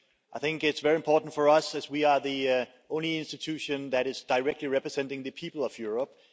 I think it's very important for us, as we are the only institution that is directly representing the people of Europe.